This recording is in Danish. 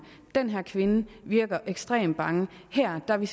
den her kvinde virker ekstremt bange her er vi